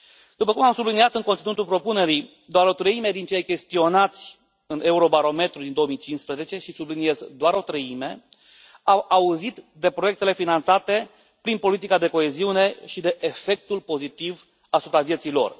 După cum am subliniat în conținutul propunerii, doar o treime dintre cei chestionați în Eurobarometrul din 2015, și subliniez, doar o treime, au auzit de proiectele finanțate prin politica de coeziune și de efectul pozitiv asupra vieții lor.